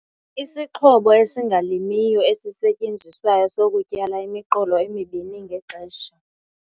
Isixhobo esingalimiyo esisetyenziswayo sokutyala imiqolo emibini ngexesha.